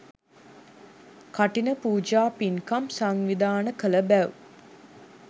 කඨින පූජා පින්කම් සංවිධානය කළ බැව්